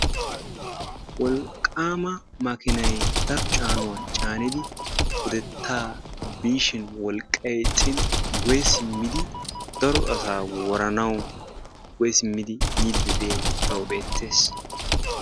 Wolqqama makiinay daro caanuwa caanidi pudetta biishin wolqqay ixxin guyye simmidi daro asa woranawu guye simmidi yiiddi diyaage tawu beettees.